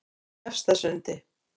Efstasundi